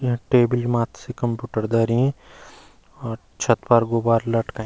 या टेबल माथ सी कंप्यूटर धरीं और छत पर गुबारा लटकईं।